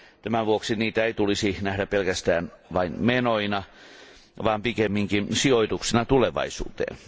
Tämän vuoksi niitä ei tulisi nähdä pelkästään vain menoina vaan pikemminkin sijoituksina tulevaisuuteen.